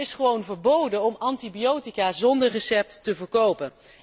Maar het is gewoon verboden om antibiotica zonder recept te verkopen.